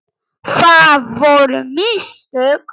Það voru mistök.